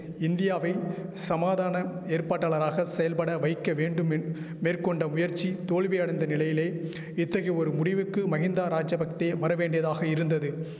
இந்தியாவை சமாதான ஏற்பாட்டாளராக செயல்பட வைக்க வேண்டும் என் மேற்கொண்ட முயற்சி தோல்வியடைந்த நிலையிலே இத்தகைய ஒரு முடிவுக்கு மகிந்தா ராஜபக்தே வரவேண்டியதாக இருந்தது